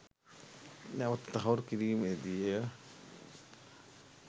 නැවත තහවුරු කිරීමේ දී ය.